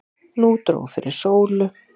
Nú dró fyrir sólu.